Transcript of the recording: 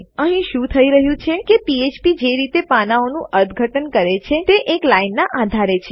અહીં શું થઇ રહ્યું છે કે ફ્ફ્પ પીએચપી જે રીતે પાનાંઓનું અર્થઘટન કરે છે તે એક લાઈનનાં આધારે છે